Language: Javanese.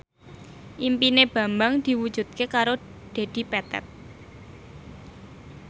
impine Bambang diwujudke karo Dedi Petet